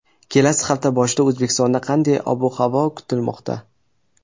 Kelasi hafta boshida O‘zbekistonda qanday ob-havo kutilmoqda?.